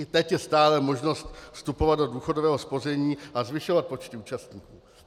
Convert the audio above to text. I teď je stále možnost vstupovat do důchodového spoření a zvyšovat počty účastníků.